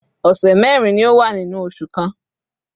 ọ̀sẹ̀ mẹ́rin ni ó wà nínú oṣù kan